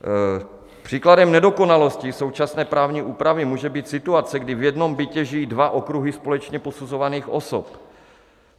Příkladem nedokonalosti současné právní úpravy může být situace, kdy v jednom bytě žijí dva okruhy společně posuzovaných osob.